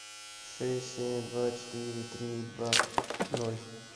шесть семь два четыре три два ноль